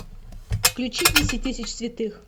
включи десять тысяч святых